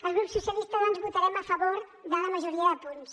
el grup socialistes doncs votarem a favor de la majoria de punts